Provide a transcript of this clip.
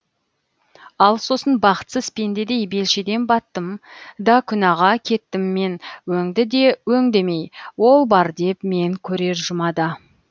ал сосын бақытсыз пендедей белшеден баттым да күнәға кеттім мен өңді де өң демей ол бар деп мен көрер жұмада